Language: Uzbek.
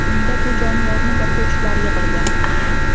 Unda bu jonivorni boquvchilar yig‘ilgan.